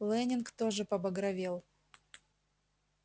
лэннинг тоже побагровел